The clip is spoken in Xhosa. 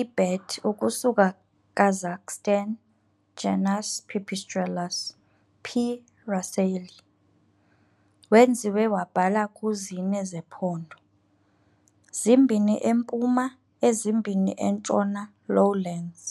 i - bat ukusuka Kazakhstan, genus "Pipistrellus". "P. raceyi" wenziwe wabhala ku zine zephondo, zimbini empuma ezimbini entshona lowlands.